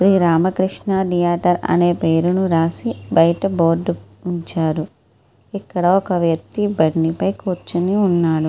Shri Ramakrishna theatre అని రాసి ఆ పేరు బోర్డు బయట పెట్టి ఉంచారు. ఇక్కడ ఒక వ్యక్తి బండి పై కూర్చొని ఉన్నాడు.